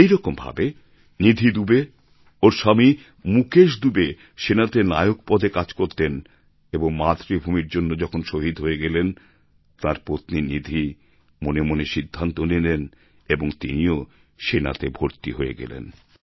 একইরকম ভাবে নিধি দুবে ওঁর স্বামী মুকেশ দুবে সেনাতে নায়ক পদে কাজ করতেন এবং মাতৃভূমির জন্য যখন শহীদ হয়ে গেলেন তাঁর পত্নী নিধি মনে মনে সিদ্ধান্ত নিলেন এবং তিনিও সেনাতে ভর্তি হয়ে গেলেন